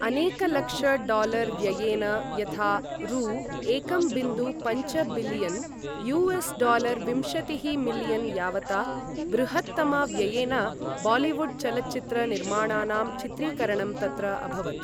अनेकलक्ष dollar व्ययेन यथा रू एकं बिन्दु पञ्च बिलियन् यु.एस्.डालर् विंशतिः मिलियन् यावता बृहत्तम व्ययेन, बालिवुड् चलच्चित्र निर्माणानां चित्रीकरणं तत्र अभवत्।